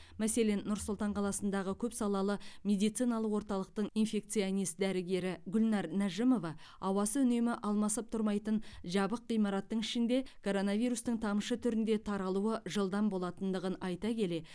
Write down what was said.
мәселен нұр сұлтан қаласындағы көпсалалы медициналық орталықтың инфекционист дәрігері гүлнәр нәжімова ауасы үнемі алмасып тұрмайтын жабық ғимараттың ішінде коронавирустың тамшы түрінде таралуы жылдам болатындығын айта келе